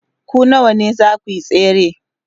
ku nawa zakuyi tsere?